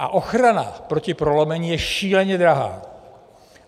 A ochrana proti prolomení je šíleně drahá.